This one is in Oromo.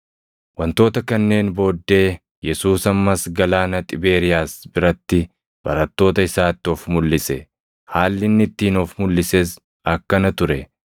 Wantoota kanneen booddee Yesuus ammas galaana Xibeeriyaas biratti barattoota isaatti of mulʼise. Haalli inni ittiin of mulʼises akkana ture: